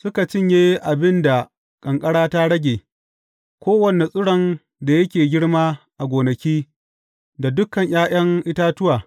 Suka cinye abin da ƙanƙara ta rage, kowane tsiron da yake girma a gonaki, da dukan ’ya’yan itatuwa.